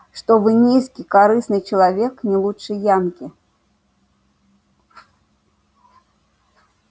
что вы низкий корыстный человек не лучше янки